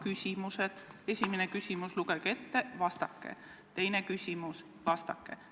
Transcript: Lugege ette esimene küsimus ja vastake, teine küsimus ja vastake.